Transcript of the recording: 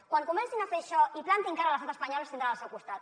quan comencin a fer això i plantin cara a l’estat espanyol ens tindran al seu costat